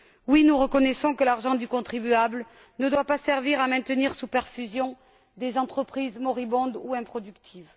Oui, nous reconnaissons que l'argent du contribuable ne doit pas servir à maintenir sous perfusion des entreprises moribondes ou improductives.